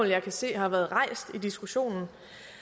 jeg kan se har været rejst i diskussionen